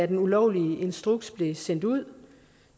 den ulovlige instruks blev sendt ud